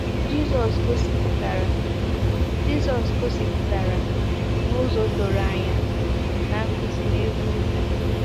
Jizọs gosipụtara Jizọs gosipụtara n’ụzọ doro anya na Nkuzi N'elu Ugwu.